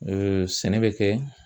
sɛnɛ bɛ kɛ